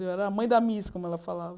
Eu era a mãe da Miss, como ela falava.